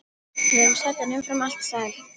Við erum södd en umfram allt sæl.